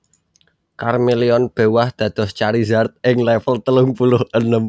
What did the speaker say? Charmeleon béwah dados Charizard ing level telung puluh enem